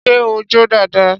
Ṣé ó jó dáadáa?